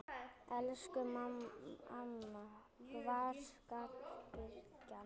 Elsku amma, hvar skal byrja?